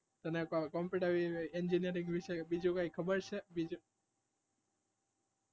તને કઈ computer engineering વિષે બીજું કઈ ખબર છે?